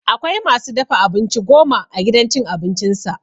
Akwai ma su dafa abinci goma a gidan cin abincinsa.